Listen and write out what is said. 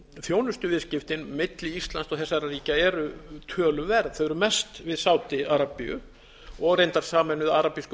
þjónustuviðskiptin milli íslands og þessara ríkja eru töluverð þau eru mest við sádi arabíu og reyndar sameinuðu arabísku